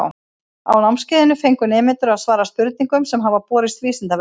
Á námskeiðinu fengu nemendur að svara spurningum sem hafa borist Vísindavefnum.